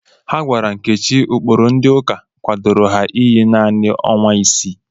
Ha gwara Nkechi ụkpụrụ ndị ụka kwadoro ha iyi naanị ọnwa isii.